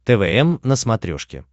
твм на смотрешке